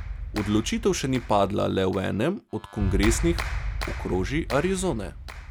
Odločitev še ni padla le v enem od kongresnih okrožij Arizone.